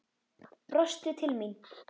Brostir til mín.